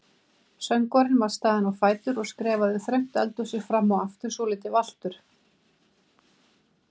Söngvarinn var staðinn á fætur og skrefaði þröngt eldhúsið fram og aftur svolítið valtur.